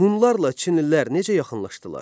Hunlarla Çinlilər necə yaxınlaşdılar?